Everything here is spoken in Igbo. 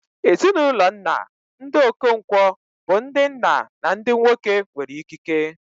Ezinụlọ nna, ndị Okonkwo, bụ ndị nna na ndị nwoke nwere ikike.